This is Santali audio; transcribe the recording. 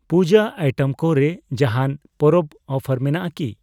ᱯᱩᱡᱟᱹ ᱟᱭᱴᱮᱢ ᱠᱚ ᱨᱮ ᱡᱟᱦᱟᱸᱱ ᱯᱚᱨᱚᱵᱽ ᱚᱯᱷᱟᱨ ᱢᱮᱱᱟᱜ ᱟᱠᱤ?